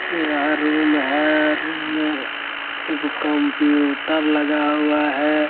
यह रूम है। रूम में एगो कंप्यूटर लगा हुआ है।